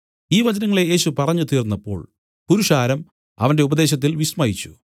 ഈ വചനങ്ങളെ യേശു പറഞ്ഞു തീർന്നപ്പോൾ പുരുഷാരം അവന്റെ ഉപദേശത്തിൽ വിസ്മയിച്ചു